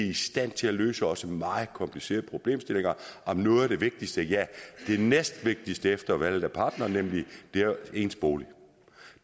i stand til at løse også meget komplicerede problemstillinger om noget af det vigtigste ja det næstvigtigste efter valget af partner nemlig ens bolig